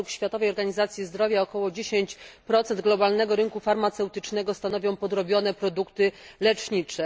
Według Światowej Organizacji Zdrowia około 10 globalnego rynku farmaceutycznego stanowią podrobione produkty lecznicze.